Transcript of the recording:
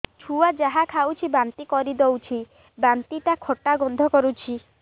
ଛୁଆ ଯାହା ଖାଉଛି ବାନ୍ତି କରିଦଉଛି ବାନ୍ତି ଟା ଖଟା ଗନ୍ଧ କରୁଛି